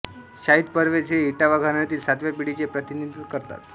शाहीद परवेज हे इटावा घराण्यातील सातव्या पिढीचे प्रतिनिधित्व करतात